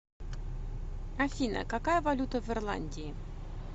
афина какая валюта в ирландии